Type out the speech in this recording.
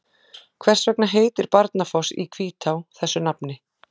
Hvers vegna heitir Barnafoss í Hvítá þessu nafni?